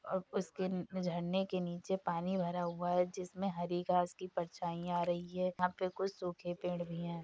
और उसके झरने के नीचे पानी भरा हुआ है जिसमें हरी घास की परछाइयाँ आ रही है। यहाँ पे कुछ सूखे पेड़ भी हैं।